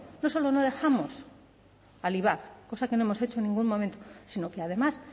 no solo no dejamos al ivap cosa que no hemos hecho en ningún momento sino que además